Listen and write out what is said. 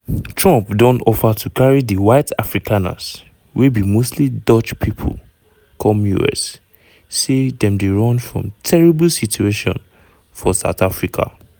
trump don offer to carry di white afrikaners wey be mostly dutch pipo come us say dem dey run from "terrible situation" for south africa.